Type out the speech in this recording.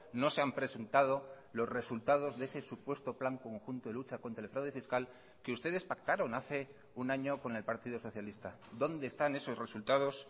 no se han presentado los resultados de ese supuesto plan conjunto de lucha contra el fraude fiscal que ustedes pactaron hace un año con el partido socialista dónde están esos resultados